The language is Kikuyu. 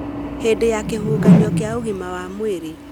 Hĩndĩ ya kĩhuhũkanio kĩa ũgima wa mwĩrĩ ,